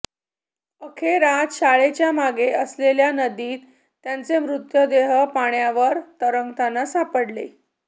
अखेर आज शाळेच्या मागे असलेल्या नदीत त्यांचे मृतदेह पाण्यावर तरंगताना सापडले